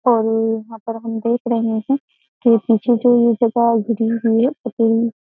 और यहाँ पर हम देख रहे हैं कि पीछे जो ये जगह गिरी हुई है पति --